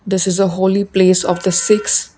this is a holy place of the six.